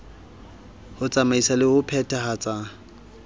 ho tsamaisa le ho phethahatsa